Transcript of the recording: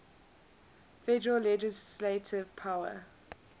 federal legislative power